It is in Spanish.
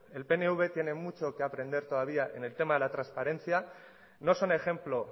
el pnv tiene mucho que aprender todavía en el tema de la transparencia no son ejemplo